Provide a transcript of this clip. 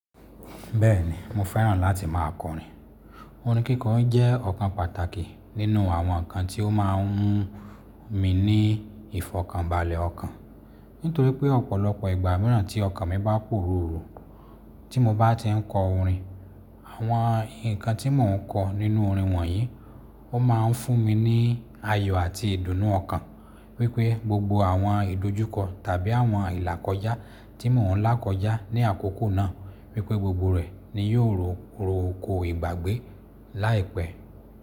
Bẹ́ẹ̀ni, mo fẹ́ràn láti má a kọrin. Orin kíko jẹ́ ọ̀kan pàtàkì nínú àwọn nǹkan tí ó máa ń mú mi ní ìfọ̀kànbalẹ̀ ọkàn. Nítorí pé ọ̀pọ̀lọpọ̀ ìgbà míràn tí ọkàn mi bá pòruru, tí mo bá ti ń kọ orin, àwọn nǹkan tí mò ń kọ nínú orin wọ̀nyí ó máa ń fún mi ní ayọ̀ àti ìdùnnú ọkàn. Wípé gbogbo àwọn ìdojúkọ tàbí àwọn ìlàkọjá tí mò ń là kọjá ní àkókò náà wípé gbogbo rẹ̀ ni yóò róko ìgbàgbé láìpẹ́.